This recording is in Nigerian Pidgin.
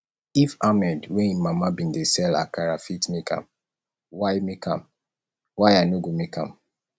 if ahmed wey im mama bin dey sell akara fit make am why make am why i no go make am